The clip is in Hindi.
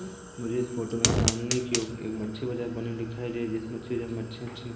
मुझे इस फोटो में सामने की ओर एक मच्छी बाजार बनी हुई दिखाई दे जिस मच्छी अच्छेअच्छे--